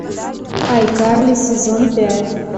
айкарли сезон пять